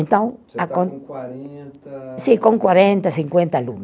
Então acon. O senhor está com quarenta. Sim, com quarenta, cinquenta aluno